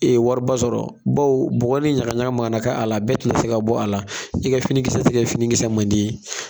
wari ba sɔrɔ baw bɔgɔ ni ɲagaɲaga mana ka a la, bɛɛ tɛna se ka bɔ a la , i kɛ finikisɛ tɛ kɛ finikisɛ mandi ye